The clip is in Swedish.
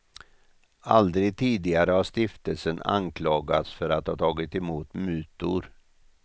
Aldrig tidigare har stiftelsen anklagats för att ha tagit emot mutor.